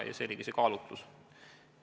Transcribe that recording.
See oligi see kaalutlus.